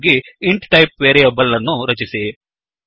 ಹಾಗಾಗಿ int type ನ variable ಅನ್ನು ರಚಿಸಿ